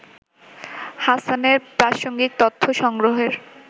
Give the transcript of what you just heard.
হাসানের প্রাসঙ্গিক তথ্য সংগ্রহের